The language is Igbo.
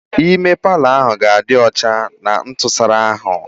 Ime palọ ahụ ga-adị ọcha na ntụsara ahụ.